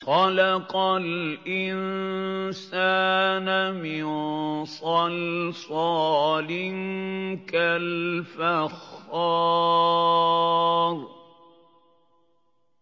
خَلَقَ الْإِنسَانَ مِن صَلْصَالٍ كَالْفَخَّارِ